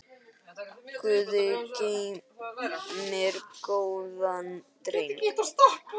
Guð geymir góðan dreng.